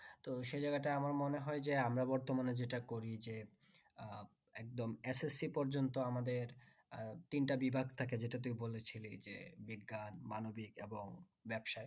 তো সেই জায়গাটায় আমার মনেহয় যে আমরা বর্তমানে যেটা করি যে আহ একদম ssc পর্যন্ত আমাদের আহ তিনটা বিভাগ থাকে যেটা তুই বলেছিলি যে বিজ্ঞান মানবিক এবং ব্যবসা